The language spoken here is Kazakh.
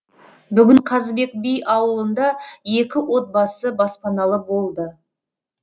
бүгін қазыбек би ауылында екі отбасы баспаналы болды